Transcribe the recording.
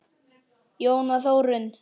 Jóna Þórunn.